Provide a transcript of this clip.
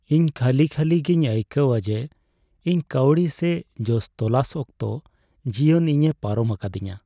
ᱤᱧ ᱠᱷᱟᱹᱞᱤ ᱠᱷᱟᱹᱞᱤ ᱜᱮᱧ ᱟᱭᱠᱟᱹᱣᱟ ᱡᱮ ᱤᱧ ᱠᱟᱹᱣᱰᱤ ᱥᱮ ᱡᱚᱥ ᱛᱚᱞᱟᱥ ᱚᱠᱛᱚ ᱡᱤᱭᱚᱱ ᱤᱧᱮ ᱯᱟᱨᱚᱢ ᱟᱠᱟᱫᱤᱧᱟᱹ ᱾